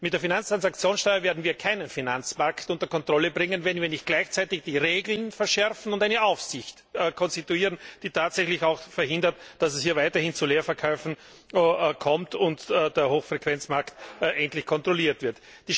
Mit der Finanztransaktionssteuer werden wir keinen Finanzpakt unter Kontrolle bringen, wenn wir nicht gleichzeitig die Regeln verschärfen und eine Aufsicht konstituieren, die auch tatsächlich verhindert, dass es hier weiterhin zu Leerverkäufen kommt, und der Hochfrequenzmarkt kontrolliert wird.